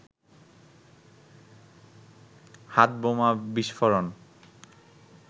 হাতবোমা বিস্ফোরণ